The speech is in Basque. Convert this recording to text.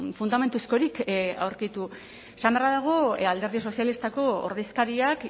fundamentuzkorik aurkitu esan beharra dago alderdi sozialistako ordezkariak